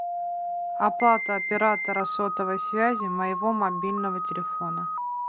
оплата оператора сотовой связи моего мобильного телефона